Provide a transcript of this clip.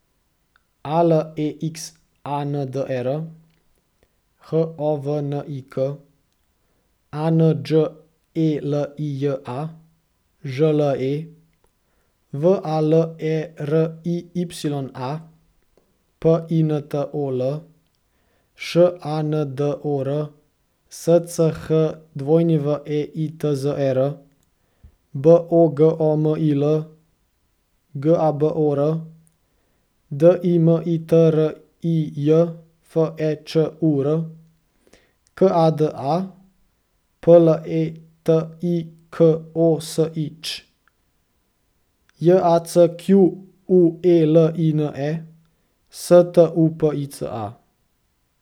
A L E X A N D E R, H O V N I K; A N Đ E L I J A, Ž L E; V A L E R I Y A, P I N T O L; Š A N D O R, S C H W E I T Z E R; B O G O M I L, G A B O R; D I M I T R I J, F E Č U R; K A D A, P L E T I K O S I Ć; J A C Q U E L I N E, S T U P I C A.